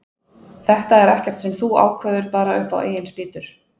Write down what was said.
Þetta er ekkert sem þú ákveður bara upp á eigin spýtur.